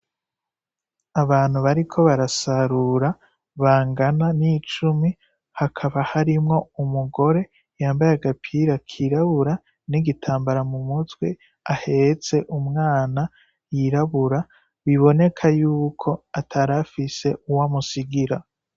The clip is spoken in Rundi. Abantu bariko barasarura bangana ni cumi, hakaba harimwo umugore yambaye agapira kirabura, n'igitambara mu mutwe, ahetse umwana yirabura, biboneka yuko atarafise uwo amusigira.